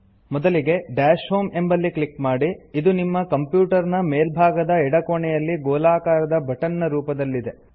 ಮೊದಲಿಗೆ dash home ಎಂಬಲ್ಲಿ click ಮಾಡಿ ಇದು ನಿಮ್ಮ ಕಂಪ್ಯೂಟರ್ ನ ಮೇಲ್ಭಾಗದ ಎಡಕೋಣೆಯಲ್ಲಿ ಗೋಲಾಕಾರದ ಬಟನ್ ನ ರೂಪದಲ್ಲಿದೆ